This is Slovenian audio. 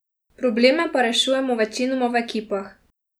Probleme pa rešujemo večinoma v ekipah.